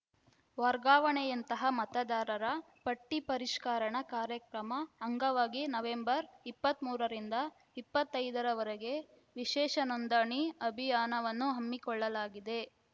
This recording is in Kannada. ವರ್ಗಾವಣೆಯಂತಹ ಮತದಾರರ ಪಟ್ಟಿಪರಿಷ್ಕರಣಾ ಕಾರ್ಯಕ್ರಮ ಅಂಗವಾಗಿ ನವೆಂಬರ್ ಇಪ್ಪತ್ತ್ ಮೂರರಿಂದ ಇಪ್ಪತ್ತೈದರವರೆಗೆ ವಿಶೇಷ ನೋಂದಣಿ ಅಭಿಯಾನವನ್ನು ಹಮ್ಮಿಕೊಳ್ಳಲಾಗಿದೆ